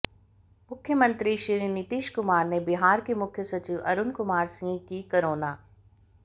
मुख्यमंत्री श्री नीतीश कुमार ने बिहार के मुख्य सचिव अरुण कुमार सिंह की कोरोना